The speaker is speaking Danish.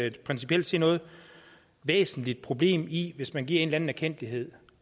ikke principielt set noget væsentligt problem i hvis man giver en eller en erkendtlighed